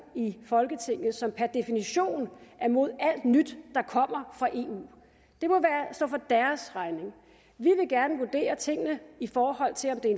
i folketinget som per definition er imod alt nyt der kommer fra eu det må stå for deres regning vi vil gerne vurdere tingene i forhold til om det er